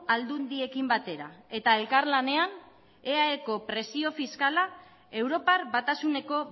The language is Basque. aldundiekin batera eta elkarlanean eaeko presio fiskala europar batasuneko